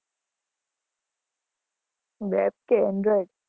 web કે